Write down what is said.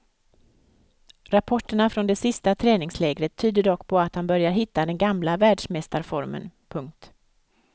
Rapporterna från det sista träningslägret tyder dock på att han börjar hitta den gamla världsmästarformen. punkt